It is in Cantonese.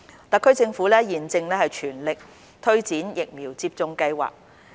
特區政府現正全力推展疫苗接種計劃。